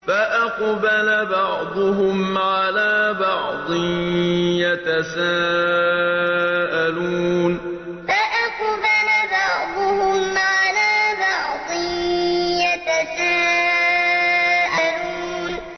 فَأَقْبَلَ بَعْضُهُمْ عَلَىٰ بَعْضٍ يَتَسَاءَلُونَ فَأَقْبَلَ بَعْضُهُمْ عَلَىٰ بَعْضٍ يَتَسَاءَلُونَ